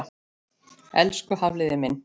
Elsku Hafliði minn.